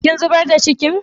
Kin zubar da cikin?